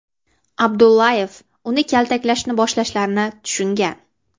Abdullayev uni kaltaklashni boshlashlarini tushungan.